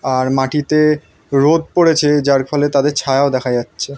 আর মাটিতে রোদ পড়েছে যার ফলে তাদের ছায়াও দেখা যাচ্ছে।